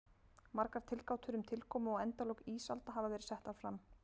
Margar tilgátur um tilkomu og endalok ísalda hafa verið settar fram.